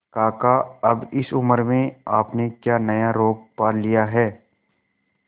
काका अब इस उम्र में आपने क्या नया रोग पाल लिया है